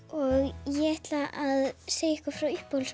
og ég ætla að segja ykkur frá